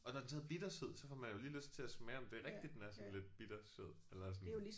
Og når den så hedder bittersød så får man jo lige lyst til at smage om det er rigtigt den er sådan lidt bittersød eller sådan